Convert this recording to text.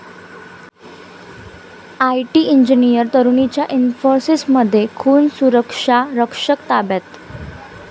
IT engineer तरुणीचा इन्फोसिसमध्ये खून, सुरक्षारक्षक ताब्यात